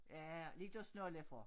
Ja lidt at snolle for